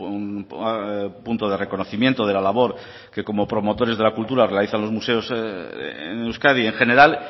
un punto de reconocimiento de la labor que como promotores de la cultura realizan los museos en euskadi en general